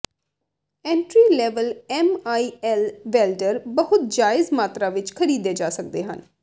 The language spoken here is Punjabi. entry level M I L welder ਬਹੁਤ ਜਾਇਜ਼ ਮਾਤਰਾ ਵਿੱਚ ਖਰੀਦੇ ਜਾ ਸਕਦੇ ਹਨ